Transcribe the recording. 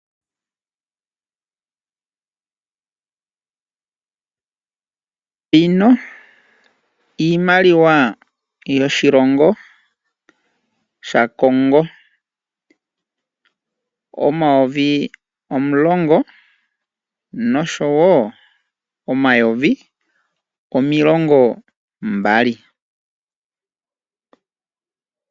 Iimaliwa yoshilongo shaCongo, omayovi omulongo noshowo omayovi omilongo mbali.